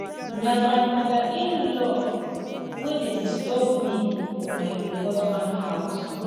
na my mother inlaw wey dey disturb me for my husband house